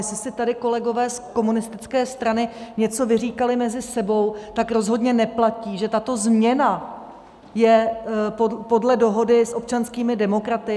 Jestli si tady kolegové z komunistické strany něco vyříkali mezi sebou, tak rozhodně neplatí, že tato změna je podle dohody s občanskými demokraty.